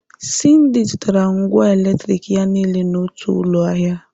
Cyndy zụtara ngwá eletronik ya niile n'otu ụlọ ahịa.